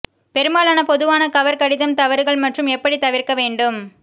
பெரும்பாலான பொதுவான கவர் கடிதம் தவறுகள் மற்றும் எப்படி தவிர்க்க வேண்டும்